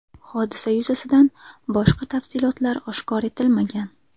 Hodisa yuzasidan boshqa tafsilotlar oshkor etilmagan.